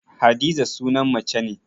Hadiza sunan mace ne